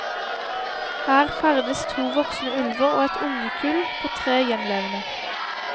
Her ferdes to voksne ulver og et ungekull på tre gjenlevende.